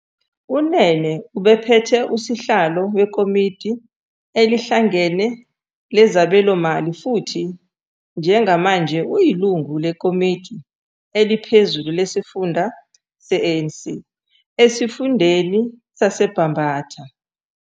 UNene ubephethe uSihlalo weKomidi Elihlangene Lezabelomali futhi njengamanje uyilungu leKomidi Eliphezulu Lesifunda le-ANC esifundeni saseBambatha.